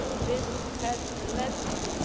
this has led